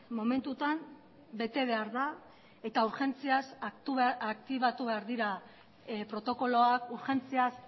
momentutan bete behar da eta urgentziaz aktibatu behar dira protokoloak urgentziaz